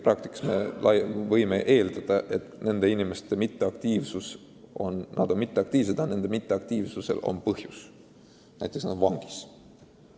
Praktikas võime eeldada, et nende inimeste passiivsusel on konkreetne põhjus, nad on näiteks vangis.